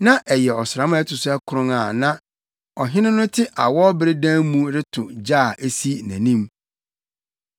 Na ɛyɛ ɔsram a ɛto so akron a na ɔhene no te awɔwbere dan mu reto ogya a esi nʼanim.